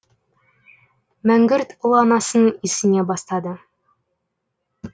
мәңгүрт ұл анасын исіне бастады